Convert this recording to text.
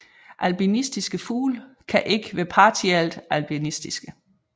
Albinistiske fugle kan ikke være partielt albinistiske